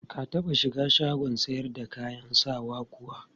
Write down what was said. Ka taɓa shiga shagon sayar da kayan sawan kuwa?